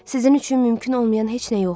Sizin üçün mümkün olmayan heç nə yoxdur.